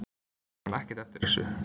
Ég man ekkert eftir þessu.